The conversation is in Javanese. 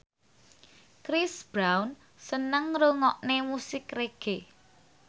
Chris Brown seneng ngrungokne musik reggae